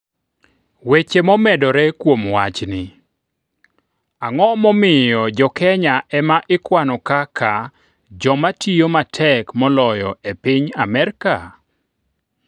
Weche momedore kuom wachni: Ang'o momiyo Jo-Kenya ema ikwano kaka joma tiyo matek moloyo e piny Amerka?